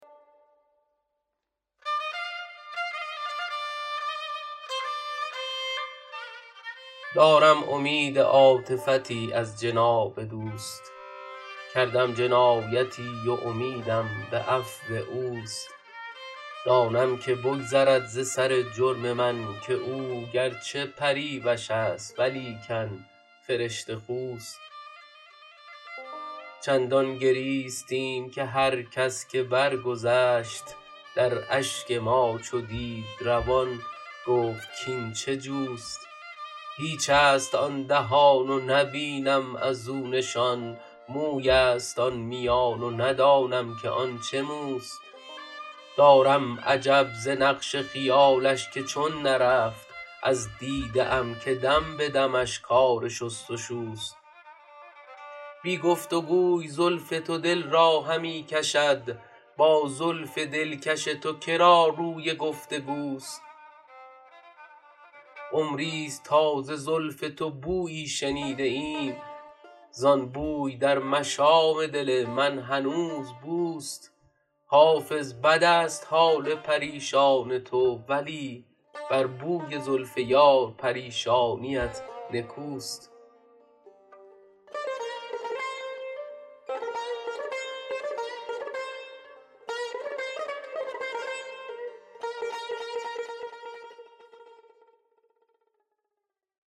دارم امید عاطفتی از جناب دوست کردم جنایتی و امیدم به عفو اوست دانم که بگذرد ز سر جرم من که او گر چه پریوش است ولیکن فرشته خوست چندان گریستیم که هر کس که برگذشت در اشک ما چو دید روان گفت کاین چه جوست هیچ است آن دهان و نبینم از او نشان موی است آن میان و ندانم که آن چه موست دارم عجب ز نقش خیالش که چون نرفت از دیده ام که دم به دمش کار شست و شوست بی گفت و گوی زلف تو دل را همی کشد با زلف دلکش تو که را روی گفت و گوست عمری ست تا ز زلف تو بویی شنیده ام زان بوی در مشام دل من هنوز بوست حافظ بد است حال پریشان تو ولی بر بوی زلف یار پریشانیت نکوست